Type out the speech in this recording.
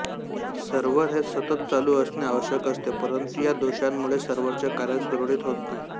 server हे सतत चालू असणे आवश्यक असते परंतु या दोषांमुळे सर्व्हरचे कार्य सुरळीत होत नाही